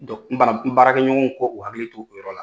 n baarakɛɲɔgɔnw ko ku hakilil to u yɔrɔ la